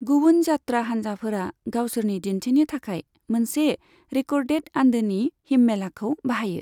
गुबुन जात्रा हान्जाफोरा गावसोरनि दिन्थिनि थाखाय मोनसे रेक'र्डेड आन्दोनि हिम्मेलाखौ बाहायो।